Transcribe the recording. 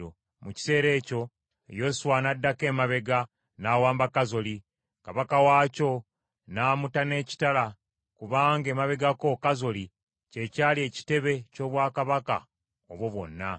Mu kiseera ekyo Yoswa n’addako emabega n’awamba Kazoli, kabaka waakyo n’amutta n’ekitala kubanga emabegako Kazoli kye kyali ekitebe ky’obwakabaka obwo bwonna.